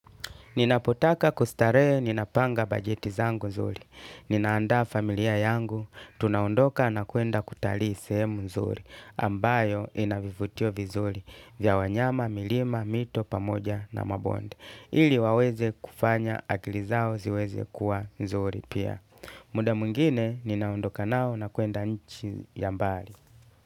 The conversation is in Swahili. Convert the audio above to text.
Ninapotaka kustarehe, ninapanga bajeti zangu zuri. Ninaandaa familia yangu, tunaondoka na kwenda kutalii sehemu nzuri, ambayo inavivutio vizuri, vya wanyama, milima, mito, pamoja, na mabonde. Ili waweze kufanya, akili zao ziweze kuwa nzuri pia. Muda mwingine, ninaondoka nao na kwenda nchi ya mbali.